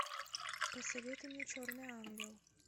посоветуй мне черный ангел